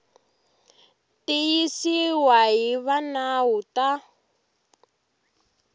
tiyisiwa hi va nawu ta